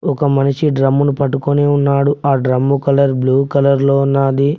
ఒక మనిషి డ్రమ్ము ను పట్టుకొని ఉన్నాడు ఆ డ్రమ్ము కలర్ బ్లూ కలర్ లో ఉన్నాది.